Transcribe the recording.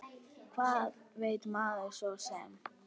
Hvað veit maður svo sem.